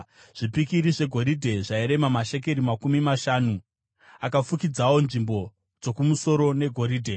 Zvipikiri zvegoridhe zvairema mashekeri makumi mashanu . Akafukidzawo nzvimbo dzokumusoro negoridhe.